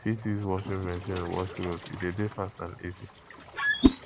we fit use washing machine wash cloths e de dey fast and easy